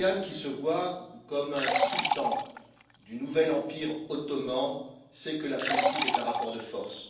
Erdogan, qui se voit comme un sultan du nouvel empire ottoman, sait que la politique est un rapport de force.